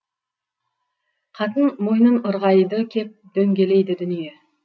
қатын мойнын ырғайды кеп дөңгелейді дүние